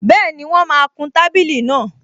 Bẹ́ẹ̀ni, wọ́n máa kun tábìlì náà